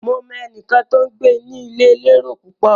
Mo mọ ẹnìkan tó ń gbé ní ilé elérò púpọ̀.